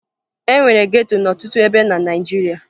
E nwere geto n'ọtụtụ ebe na Naịjirịa